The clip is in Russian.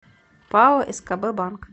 пао скб банк